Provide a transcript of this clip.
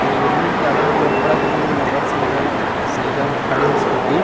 अऊ बिल्डिंग के आघू मन में अब्बड़ अकन मोटरसाइकिल साइकल खड़े हे स्कूटी --